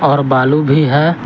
और भालू भी है।